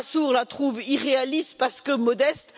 Lamassoure la trouve irréaliste parce que modeste.